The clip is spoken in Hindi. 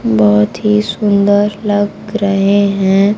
बहुत ही सुंदर लग रहे हैं।